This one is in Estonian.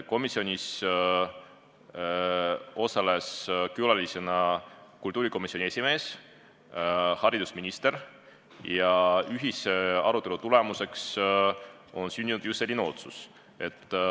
Komisjonis osalesid külalistena kultuurikomisjoni esimees ja haridusminister ning ühise arutelu tulemusena sündis just selline otsus.